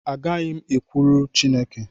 Agaghị m ekwulu Chịneke